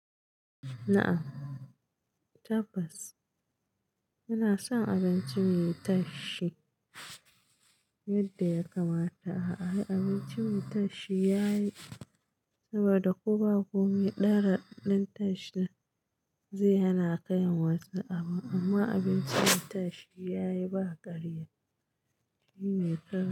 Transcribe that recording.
Na'am tabbas, ina son abinci mai tashshi yadda ya kamata. A'a abinci mai tashshi yayi saboda ko ba komai, ɗan raɗadin tashshin zai hana ka yin wasu abun amma abinci mai tashshi yayi ba ƙarya. Shi ne ka.